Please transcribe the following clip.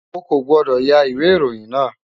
O kò gbọ́dọ̀ ya ìwé ìròyìn náà!